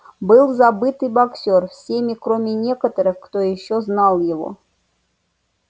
был забыт и боксёр всеми кроме некоторых кто ещё знал его